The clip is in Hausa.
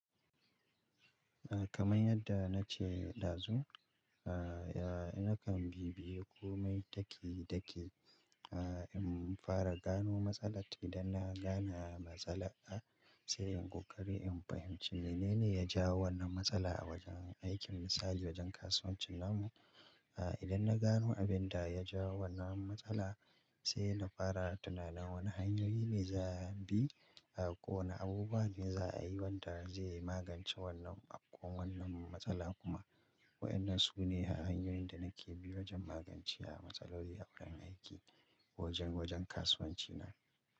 Kaman yadda na ce dazu, aa nakan bi biyu ko mai taki dake, aa in fara gano matsala idan na gane matsala a sai in ƙoƙari in fahimci menene ya jawo wannan matsala a wajen aikin misali wajen kasuwancin namu. Aa idan na gano abinda ya jawo wannan matsala sai na fara tunanin wane hanyoyi ne za a bi ko wane abubuwa bin za a yi wanda zai magance wannan ko wannan matsala kuma waɗannan su ne hanyoyin da nake bi wajen magance wa matsaloli a wurin aiki wajen wajen kasuwancina.